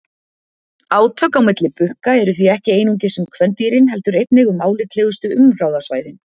Átök á milli bukka eru því ekki einungis um kvendýrin heldur einnig um álitlegustu umráðasvæðin.